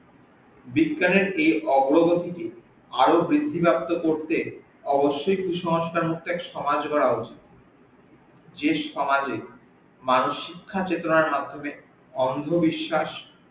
বিজ্ঞানের এই অগ্রগতিকে আরও বৃদ্ধিপ্রাপ্ত করতে অবশ্যই কুসংস্কার মুক্ত এক সমাজ গড়া উচিত যে সমাজে মানুষ শিক্ষা চেতনার মাধ্যমে অন্ধবিশ্বাস